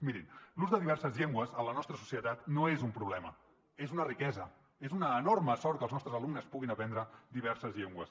mirin l’ús de diverses llengües en la nostra societat no és un problema és una riquesa és una enorme sort que els nostres alumnes puguin aprendre diverses llengües